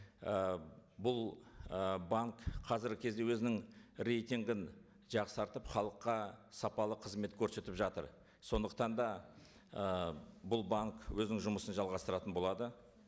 і бұл ы банк қазіргі кезде өзінің рейтингін жақсартып халыққа сапалы қызмет көрсетіп жатыр сондықтан да ы бұл банк өзінің жұмысын жалғастыратын болады